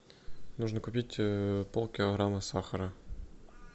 нужно купить полкилограмма сахара